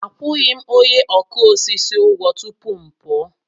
Akwụghị m onye ọkụ osisi ụgwọ tupu m pụọ.